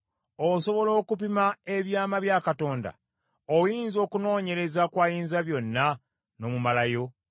“Osobola okupima ebyama bya Katonda? Oyinza okunoonyereza ku Ayinzabyonna n’omumalayo?